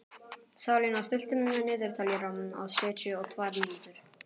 Salína, stilltu niðurteljara á sjötíu og tvær mínútur.